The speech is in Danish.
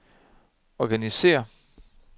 organisér